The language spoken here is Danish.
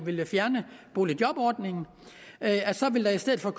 ville fjerne boligjobordningen at der i stedet for